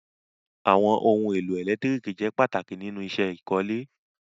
Awọn ọhun èlẹ́tiríkì jẹ́ pàtàkì nínu iṣẹ́ ìkọ̀lẹ̀.